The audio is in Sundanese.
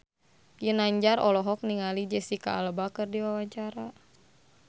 Ginanjar olohok ningali Jesicca Alba keur diwawancara